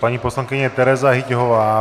Paní poslankyně Tereza Hyťhová.